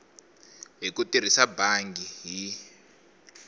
hi ku tirhisa bangi hi